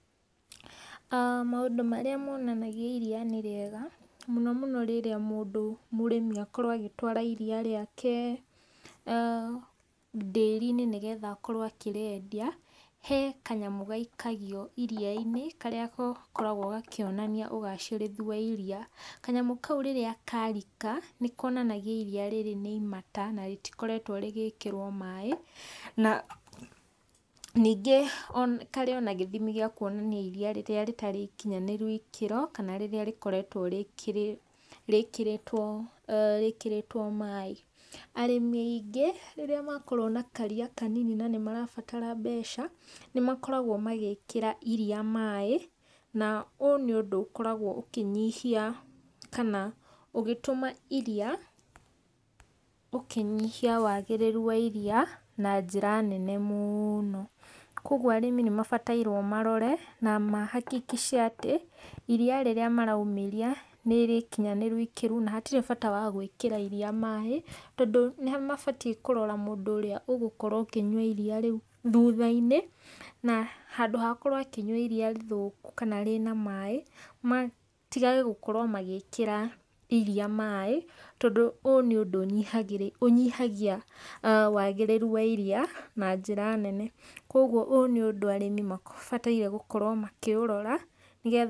Maũndũ marĩa monanagia iria nĩ rĩega, mũno mũno mũndũ, mũrĩmi agĩkorwo agĩtwara iria rĩake ndĩri-inĩ nĩ getha akorwo akĩrĩendia , he kanyamũ gaikagio iria-inĩ , karĩa gakoragwo gakĩonania ũgacĩrĩthu wa iria. Kanyamũ kau rĩrĩa karika, nĩ konanagia iriia rĩrĩ nĩ imata na rĩtikoretwo rĩgĩkĩrwo maĩ na ningĩ karĩ o na gĩthimi gĩa kuonania iriia rĩrĩa rĩtarĩ ikinyanĩru ĩkĩro kana rĩrĩa rĩkoragwo rĩkĩrĩtwo rĩkĩrĩtwo maĩ. Arĩmi aingĩ rĩrĩa makorwo na kariia kanini na nĩ marabatara mbeca, nĩ makoragwo magĩkĩra iriia maĩ na ũũ nĩ ũndũ ũkoragwo ũkĩnyihia kana ũgĩtũma iria, ũkinyihia wagĩrĩru wa iriia na njĩra nene mũno. Kũoguo arĩmi nĩ mabatairwo marore na mahakikice atĩ iria rĩrĩa maraumĩria, nĩrĩkinyanĩru ikĩro na hatirĩ bata wa gwĩkĩra iriia maĩ tondũ nĩ mabatiĩ kũrora mũndũ ũrĩa ũgũkorwo ũkĩnyua iriia rĩu thutha-inĩ na handũ ha akorwo akĩnyua iriia rĩthũku kana rĩna maĩ, matigage gũkorwo magĩkĩra iriia maĩ tondũ ũũ nĩ ũndũ ũnyihagia wagĩrĩru wa iriia na njĩra nene. Kũoguo ũũ nĩ ũndũ arĩmi mabataire gũkorwo makĩũrora nĩ getha.